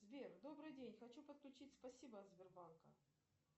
сбер добрый день хочу подключить спасибо от сбербанка